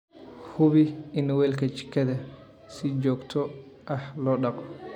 Hubi in weelka jikada si joogto ah loo dhaqo.